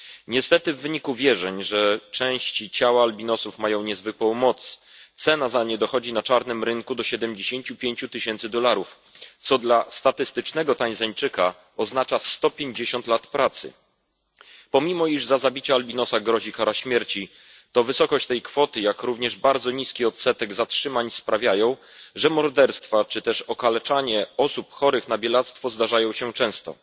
Niestety w wyniku wierzeń, że części ciała albinosów mają niezwykłą moc, cena za nie dochodzi na czarnym rynku do 75 tysięcy dolarów, co dla statystycznego Tanzańczyka oznacza 150 lat pracy. Pomimo iż za zabicie albinosa grozi kara śmierci, to wysokość tej kwoty, jak również bardzo niski odsetek zatrzymań sprawiają, że morderstwa czy też okaleczanie osób chorych na bielactwo zdarzają się często.